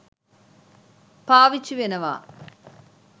පාවිච්චි වෙනවා.